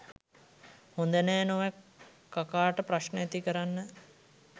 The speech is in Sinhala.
හොඳ නෑ නොවැ කකා ට ප්‍රශ්න ඇති කරන්න